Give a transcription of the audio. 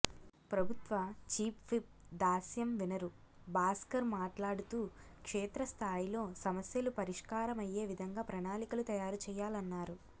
ప్రభుత్వ చీఫ్విప్ దాస్యం వినరు భాస్కర్ మాట్లాడుతూ క్షేత్ర స్థాయిలో సమస్యలు పరి ష్కారమయయ్యేవిధంగా ప్రణాళికలు తయారు చేయాలన్నారు